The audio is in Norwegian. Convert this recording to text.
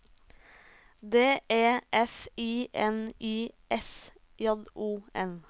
D E F I N I S J O N